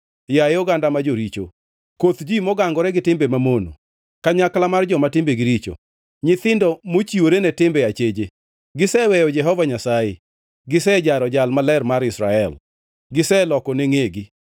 Yaye oganda ma joricho, koth ji mogangore gi timbe mamono, kanyakla mar joma timbegi richo, nyithindo mochiwore ne timbe acheje! Giseweyo Jehova Nyasaye; gisejaro Jal Maler mar Israel giselokone ngʼegi.